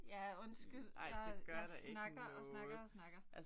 Ja undskyld. Jeg jeg snakker og snakker og snakker